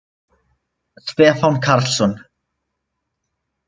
Stefán Karlsson.